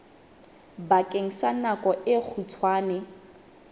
bakeng sa nako e kgutshwane